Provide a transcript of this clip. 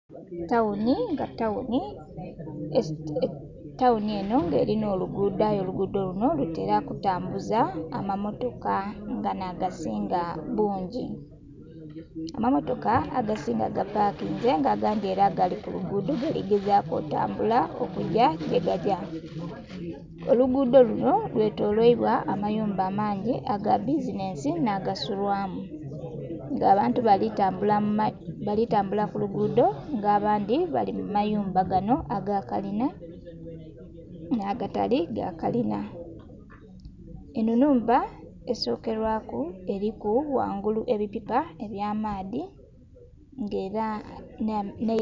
Tawuni nga tawuni eno nga erina olugudho luno lutera okutambuza amammotoka nga nagasinga bungi. Amammotoka agasinga gapakinze nga agandhi era gali kulugudho gali gezaku otambula okugya yegagya. Olugudho luno lwetolwairwa amayumba amangi agabbizinensi n'agasulwamu nga abantu balitambula kulugudho abandhi bali kumayumba gano agakalina n'agatali galina. Eno enhumba esokerwaku eriku ghangulu ebipipa eby'amaadhi nga era ne...